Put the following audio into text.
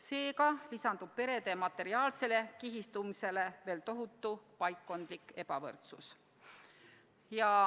Seega lisandub perede materiaalsele kihistumisele veel tohutu paikkondlik ebavõrdsus.